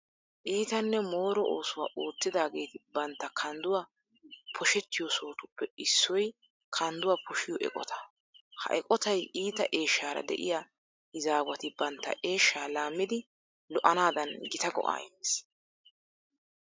Iitanne mooro oosuwa oottidaageeti bantta kandduwa poshettiyo sohotuppe issoy kandduwa poshiyo eqota. Ha eqotay iita eeshshaara de'iya izaawati bantta eeshshaa laammidi lo"anaadan gita go"aa immees.